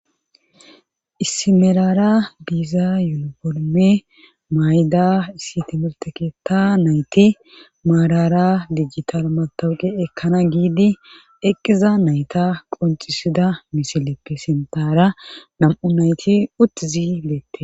Issimelara diiza yunoforme mayda issi timirte keetta nayti maarara digital matawuqe ekkana giidi eqqiza nayta qoncisida misileppe sintara nam7u nayti uttizi leette